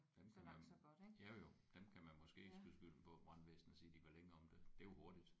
Dem kan man jo jo dem kan man måske ikke skyde skylden på brandvæsenet og sige de var længe om det det er jo hurtigt